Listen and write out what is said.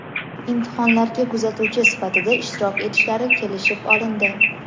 imtihonlarga kuzatuvchi sifatida ishtirok etishlari kelishib olindi.